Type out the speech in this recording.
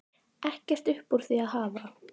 Ekkert upp úr því að hafa?